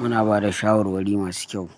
Muna ba da shawarwari masu kyau.